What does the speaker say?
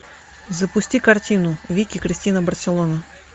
запусти картину вики кристина барселона